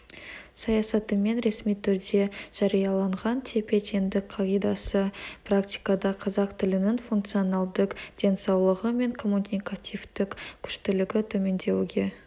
саясатымен ресми түрде жарияланған тепе-теңдік қағидасы практикада қазақ тілінің функционалдық денсаулығы мен коммуникативтік күштілігі төмендеуге